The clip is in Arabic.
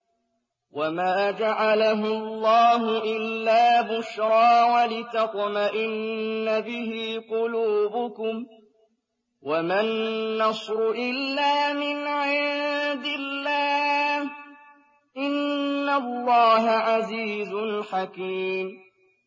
وَمَا جَعَلَهُ اللَّهُ إِلَّا بُشْرَىٰ وَلِتَطْمَئِنَّ بِهِ قُلُوبُكُمْ ۚ وَمَا النَّصْرُ إِلَّا مِنْ عِندِ اللَّهِ ۚ إِنَّ اللَّهَ عَزِيزٌ حَكِيمٌ